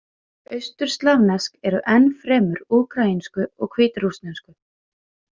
Austurslavnesk eru enn fremur úkraínsku og hvítrússnesku.